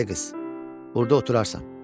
Ay qız, burda oturarsan.